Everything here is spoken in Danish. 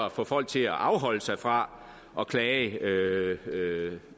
at få folk til at afholde sig fra at klage